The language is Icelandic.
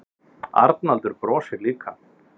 Arnaldur brosir líka.